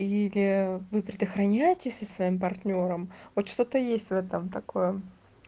или вы предохраняетесь со своим партнёром вот что-то есть в этом такое